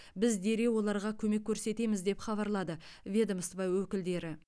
біз дереу оларға көмек көрсетеміз деп хабарлады ведомство өкілдері